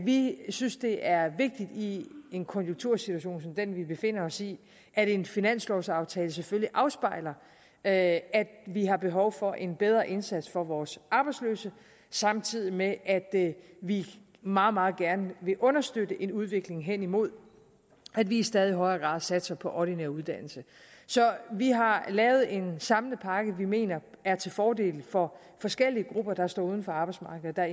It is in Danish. vi synes det er vigtigt i en konjunktursituation som den vi befinder os i at en finanslovaftale selvfølgelig afspejler at vi har behov for en bedre indsats for vores arbejdsløse samtidig med at vi meget meget gerne vil understøtte en udvikling hen imod at vi i stadig højere grad satser på ordinær uddannelse så vi har lavet en samlet pakke som vi mener er til fordel for forskellige grupper der står uden for arbejdsmarkedet og